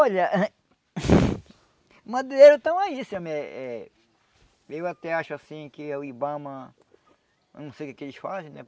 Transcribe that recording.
Olha... Madeireiros estão aí, se eu me eh... Eu até acho assim que o Ibama... Eu não sei o que que eles fazem, né?